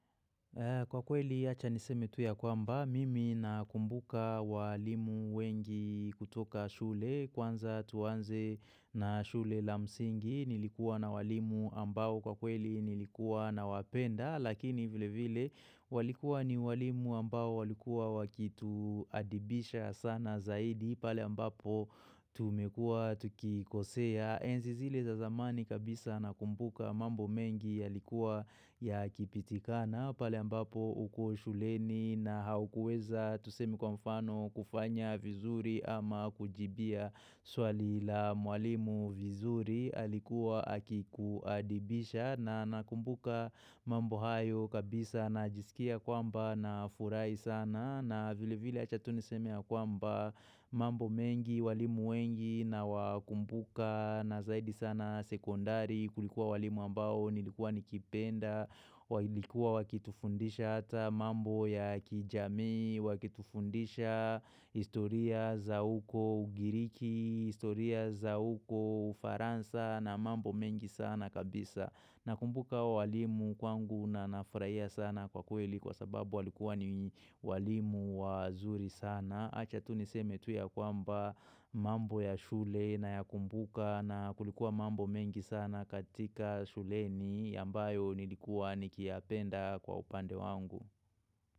Kwa kweli yacha niseme tuya kwamba, mimi nakumbuka walimu wengi kutoka shule, kwanza tuanze na shule la msingi, nilikuwa na walimu ambao kwa kweli nilikuwa na wapenda, lakini vile vile walikuwa ni walimu ambao walikuwa wakitu adibisha sana zaidi, pale ambapo tumekua tukikosea. Enzizile za zamani kabisa nakumbuka mambo mengi ya likuwa ya kipitikana. Pale ambapo ukushuleni na haukueza tusemi kwa mfano kufanya vizuri ama kujibia swali la mwalimu vizuri alikuwa akikuadibisha. Na nakumbuka mambo hayo kabisa na jisikia kwamba na furai sana. Na vile vile achatuniseme ya kwamba mambo mengi walimu wengi na wakumbuka na zaidi sana sekondari kulikuwa walimu ambao nilikuwa nikipenda walikuwa wakitufundisha hata mambo ya kijamii wakitufundisha historia za uko Ugiriki, historia za uko ufaransa na mambo mengi sana kabisa, na kumbuka walimu kwangu na nafurahia sana kwa kweli kwa sababu walikuwa ni walimu wazuri sana. Acha tu niseme tu ya kwamba mambo ya shule na ya kumbuka na kulikuwa mambo mengi sana katika shule ni ambayo nilikuwa nikia apenda kwa upande wangu.